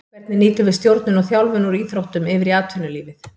Hvernig nýtum við stjórnun og þjálfun úr íþróttum yfir í atvinnulífið.